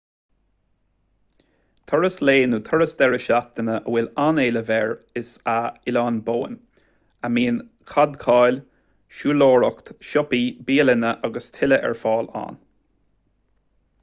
turas lae nó turas deireadh seachtaine a bhfuil an-éileamh air is ea oileán bowen a mbíonn cadhcáil siúlóireacht siopaí bialanna agus tuilleadh ar fáil ann